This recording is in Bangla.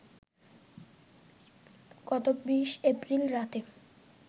গত ২০ এপ্রিল রাতে